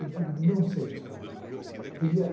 Eu digo, não sei responder.